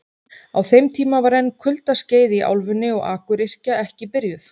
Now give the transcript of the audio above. Á þeim tíma var enn kuldaskeið í álfunni og akuryrkja ekki byrjuð.